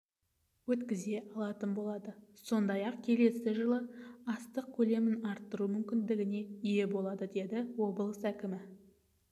өткізе алатын болады сондай-ақ келесі жылы астық көлемін арттыру мүмкіндігіне ие болады деді облыс әкімі